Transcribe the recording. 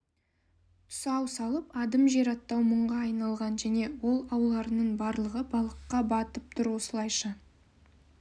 тұсау салып адым жер аттау мұңға айналған және ол аулардың барлығы балыққа батып тұр осылайша